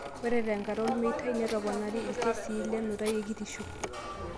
Ore te nkata olmeitai netoponari lkesii le nutai ekitisho